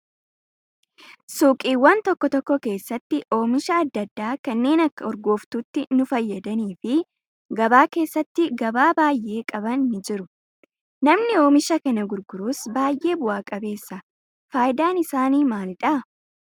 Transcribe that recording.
Suuqiiwwan tokko tokko keessatti oomisha adda addaa kanneen akka urgooftuutti nu fayyadanii fi gabaa keessatti gabaa baay'ee qaban ni jiru. Namni oomisha kana gurgurus baay'ee bu'aa qabeessa. Fayidaan isaanii maalidhaa?